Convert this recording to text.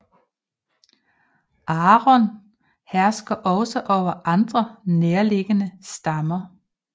Agron herskede også over andre nærliggende stammer